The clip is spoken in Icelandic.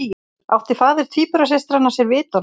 Átti faðir tvíburasystranna sér vitorðsmann